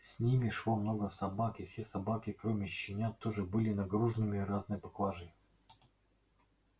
с ними шло много собак и все собаки кроме щенят тоже были нагружены разной поклажей